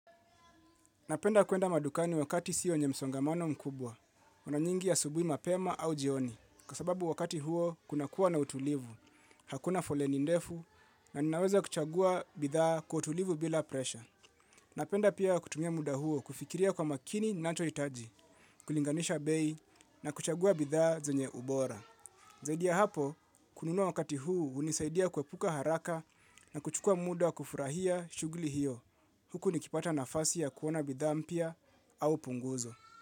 Napenda kuenda madukani wakati siyo yenye msongamano mkubwa. Una nyingi asubui mapema au jioni. Kwa sababu wakati huo kuna kuwa na utulivu. Hakuna foleni ndefu naninaweza kuchagua bidhaa kwa utulivu bila presha. Napenda pia kutumia mda huo kufikiria kwa makini ninacho hitaji. Kulinganisha bei na kuchagua bidhaa zenye ubora. Zaidi ya hapo, kununua wakati huu hunisaidia kuepuka haraka na kuchukua mda wa kufurahia shughuli hiyo. Huku nikipata nafasi ya kuona bidhaa mpya au punguzo.